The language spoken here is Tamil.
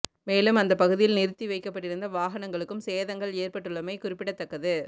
மேலும் அந்த பகுதியில் நிறுத்தி வைக்கப்பட்டிருந்த வாகனங்களுக்கும் சேதங்கள் ஏற்பட்டுள்ளமை குறிப்பிடத்தக்கது